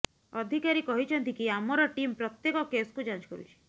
ଅଧିକାରୀ କହିଛନ୍ତି କି ଆମର ଟିମ ପ୍ରତ୍ୟେକ କେସକୁ ଜାଞ୍ଚ କରୁଛି